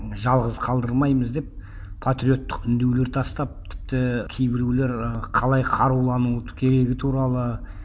жалғыз қалдырмаймыз деп патриоттық үндеулер тастап тіпті кейбіреулер ы қалай қарулануды керегі туралы